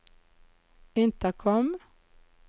intercom